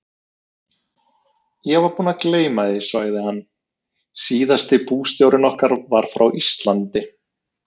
Ég var búinn að gleyma því, sagði hann, síðasti bústjórinn okkar var frá Íslandi.